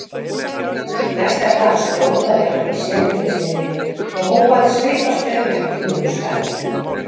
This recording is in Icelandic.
Næsta dag skrópaði hann í setuliðsvinnunni og hóf að svipast um eftir nýju starfi.